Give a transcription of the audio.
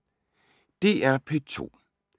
DR P2